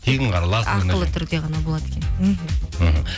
тегін қараласың ақылы түрде ғана болады екен мхм мхм